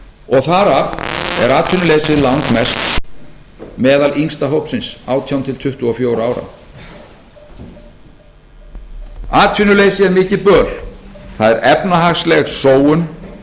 og þar af er atvinnuleysið langmest meðal yngsta hópsins átján tuttugu og fjögurra ára atvinnuleysi er mikið böl það er efnahagsleg sóun